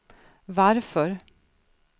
varför